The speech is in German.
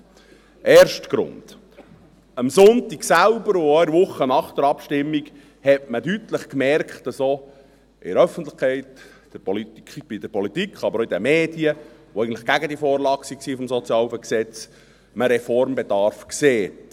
Der erste Grund: Am Sonntag selbst, und auch in der Woche nach der Abstimmung, merkte man deutlich, dass man auch in der Öffentlichkeit, in der Politik, aber auch bei den Medien, die eigentlich gegen diese Vorlage zum SHG waren, Reformbedarf sieht.